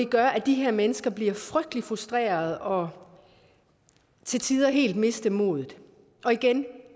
gøre at de her mennesker bliver frygtelig frustrerede og til tider helt mister modet igen